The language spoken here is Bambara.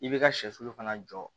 I bɛ ka sɛsulu fana jɔ